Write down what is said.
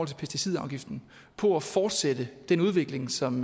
til pesticidafgiften på at fortsætte den udvikling som